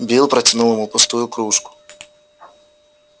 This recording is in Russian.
билл протянул ему пустую кружку